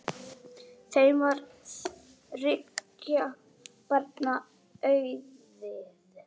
Þeim varð þriggja barna auðið.